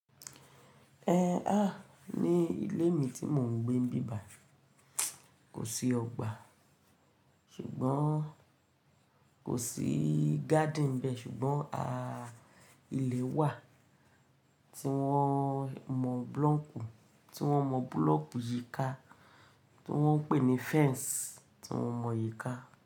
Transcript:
Ẹ à ní ilé mi tí mò ń gbé bí bà i. Kò sí ọgbà ṣùgbọ́n kò sí garden nbẹ ṣùgbọ́n a ile wà tí wọ́n mọ búlọ́kù tí wọ́n mọ búlọ̀kù yíká tí wọ́n ń pè ní fence tí wọ́n mọ yíka.